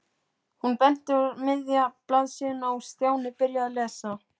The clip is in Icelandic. Hún benti á miðja blaðsíðuna og Stjáni byrjaði að lesa.